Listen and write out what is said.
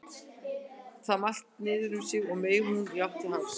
Með allt niður um sig meig hún í átt til hafs.